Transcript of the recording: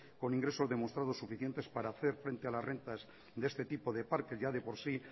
con ingresos demostrados para hacer frente a las rentas de este tipo de parques ya de por sí